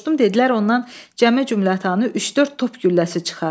Soruşdum, dedilər ondan cəmi-cümətanı üç-dörd top gülləsi çıxar.